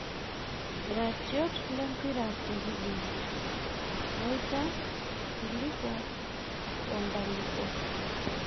Iratiot lempira tekibini; Moita, Silipo o Nkalipo